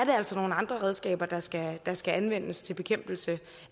jo altså nogle andre redskaber der skal der skal anvendes til bekæmpelse